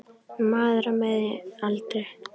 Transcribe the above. Maður á miðjum aldri.